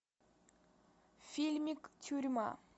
фильмик тюрьма